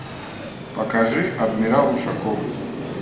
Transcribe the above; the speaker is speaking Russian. покажи адмирал ушаков